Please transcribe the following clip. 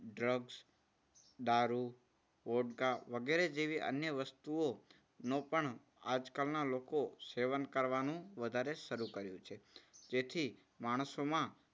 drugs દારૂ vodka વગેરે જેવી અન્ય વસ્તુઓનું પણ આજકાલના લોકો સેવન કરવાનું વધારે શરૂ કર્યું છે. જેથી માણસોમાં